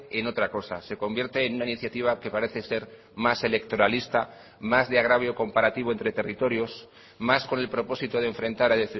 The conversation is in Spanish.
en otra cosa se convierte en una iniciativa que parece ser más electoralista más de agravio comparativo entre territorios más con el propósito de enfrentar a